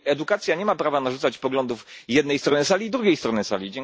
I edukacja nie ma prawa narzucać poglądów jednej strony sali drugiej stronie sali.